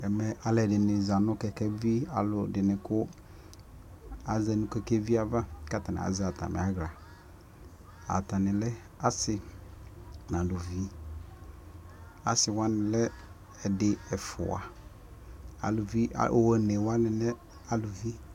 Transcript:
ɛmɛ alʋɛdini zanʋkɛkɛvi, alʋɛdini kʋ aza nʋ kɛkɛvi aɣa kʋ atani azɛ atami ala ,atani lɛ asii nʋ alʋvi, asii wani lɛ ɛdi ɛƒʋa ,alʋvi ɔnɛ wani lɛ alʋvi